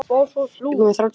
Það er líklega svækjan